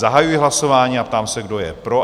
Zahajuji hlasování a ptám se, kdo je pro?